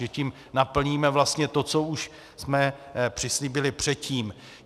Takže tím naplníme vlastně to, co už jsme přislíbili předtím.